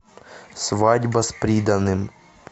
свадьба с приданым